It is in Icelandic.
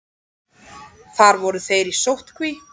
Þar voru þeir í sóttkví.